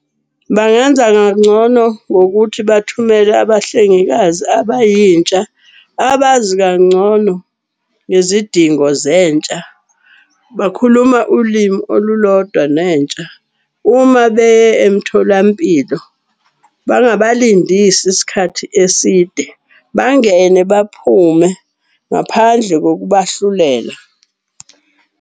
Bangenza ngokuthi bathumele abahlengikazi abayintsha, abazi kangcono ngezidingo zentsha. Bakhuluma ulimi olulodwa nentsha, uma beye emtholampilo bangabalindisi isikhathi eside. Bangene baphume ngaphandle kokubahlulela.